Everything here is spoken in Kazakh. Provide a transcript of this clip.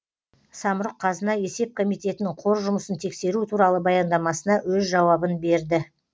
самрұқ қазына есеп комитетінің қор жұмысын тексеру туралы баяндамасына өз жауабын берді